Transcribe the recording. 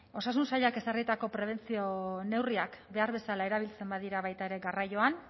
osasun sailak ezarritako prebentzio neurriak behar bezala erabiltzen badira baita ere garraioan